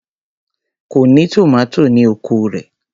Kò ní tòmátò ní oko rẹ̀.